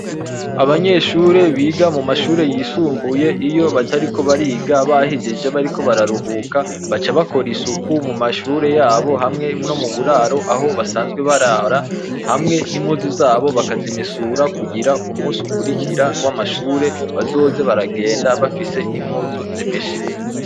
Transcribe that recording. Abanyeshure biga mu manyeshure yisumbuye iyo batariko bariga bahejeje bariko bararuhuka baca bakora isuku mumashure yabo no muburaro aho basazwe barara hamwi n'impuzu zabo bakazimesura kugira ngo umunsi ukwirikira w'amashure bazoze baragenda bafise impuzu zimeshe.